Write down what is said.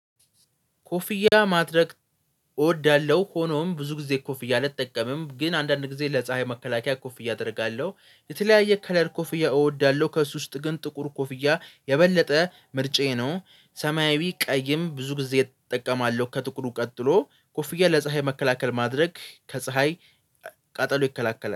ኮፍያ ማድረግ እወዳለሁ። ሆኖም ብዙ ጊዜ ኮፍያ አልጠቀምም ግን አንዳንድ ጊዜ ለፀሀይ መከላከያ ኮፍያ አደርጋለሁ። የተለያየ ከለር ኮፍያ እወዳለሁ ከእርሱ ውስጥ ግን ጥቁር ኮፍያ የበለጠ ምርጫዬ ነው። ሰማያዊ ቀይም ብዙ ጊዜ እጠቀማለሁ ከጥቁሩ ቀጥሎ ኮፍያ ለፀሀይ መከላከል ማድረግ ከፀሀይ ቃጠሎ ይከላከላል